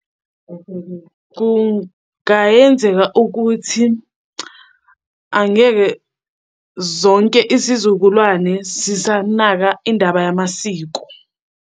Kungayenzeka ukuthi angeke zonke isizukulwane sisanaka indaba yamasiko.